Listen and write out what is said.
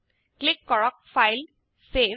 click কৰক ফাইলেগ্টছেভ